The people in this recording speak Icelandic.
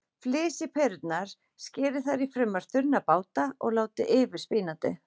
Flysjið perurnar, skerið þær í fremur þunna báta og látið yfir spínatið.